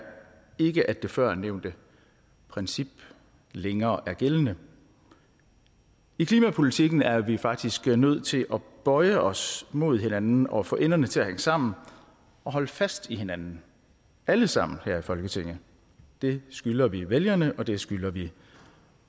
ikke at det førnævnte princip længere er gældende i klimapolitikken er vi faktisk nødt til at bøje os mod hinanden og få enderne til at nå sammen og holde fast i hinanden alle sammen her i folketinget det skylder vi vælgerne og det skylder vi